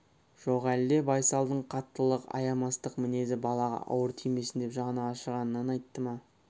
жоқ әлде байсалдың қаттылық аямастық мінезі балаға ауыр тимесін деп жаны ашығаннан айтты ма